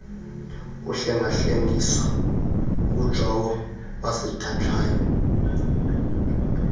ukuhlengahlengiswa ngujowo wasidajayo